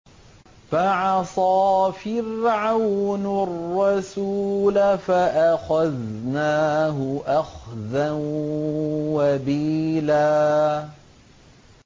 فَعَصَىٰ فِرْعَوْنُ الرَّسُولَ فَأَخَذْنَاهُ أَخْذًا وَبِيلًا